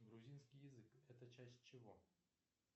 грузинский язык это часть чего